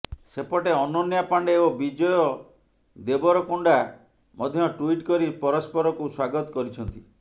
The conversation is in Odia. ସେପଟେ ଅନନ୍ୟା ପାଣ୍ଡେ ଓ ବିଜୟ ଦେବରକୋଣ୍ଡା ମଧ୍ୟ ଟୁଇଟ୍ କରି ପରସ୍ପରକୁ ସ୍ୱାଗତ କରିଛନ୍ତି